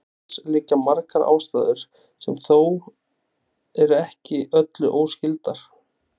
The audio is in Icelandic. Til þess liggja margar ástæður sem eru þó ekki með öllu óskyldar.